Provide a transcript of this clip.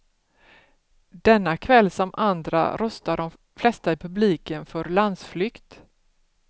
Denna kväll som andra röstar de flesta i publiken för landsflykt.